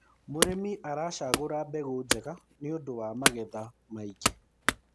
mũrĩmi aracagura mbegũ njega nĩũndũ wa magetha maĩngi